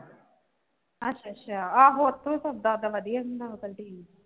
ਅੱਛਾ ਅੱਛਾ ਆਹੋ ਉੱਥੋਂ ਸੌਦਾ ਤਾਂ ਵਧੀਆ ਹੁੰਦਾ ਵਾ canteen